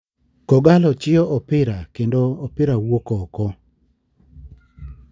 Kogallo chiyo nopira kendo opira wuok oko.